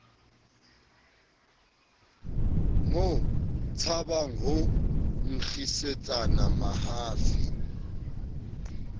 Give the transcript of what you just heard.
mo tshabang ho nkgisetsana mahafi